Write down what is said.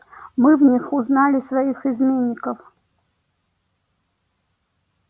мы в них узнали своих изменников